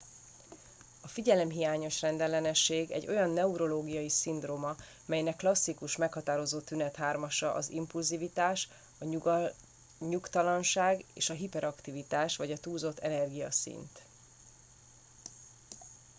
a figyelemhiányos rendellenesség egy olyan neurológiai szindróma amelynek klasszikus meghatározó tünethármasa az impulzivitás a nyugtalanság és a hiperaktivitás vagy a túlzott energiaszint